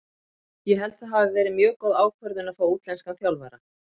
Ég held að það hafi verið mjög góð ákvörðun að fá útlenskan þjálfara.